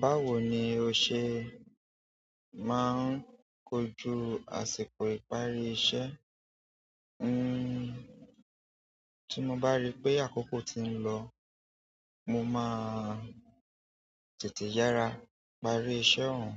Báwo ni o se maa n koju àsìkò ìparí iṣẹ́? N-n-n tí mo bá rí pé àkókò ti ń lọ, mo má a tètè yára parí iṣẹ́ òhun.